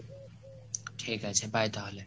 ঠিক আছে bye তাহলে।